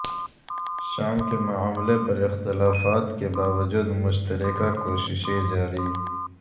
شام کے معاملے پر اختلافات کے باوجود مشترکہ کوششیں جاری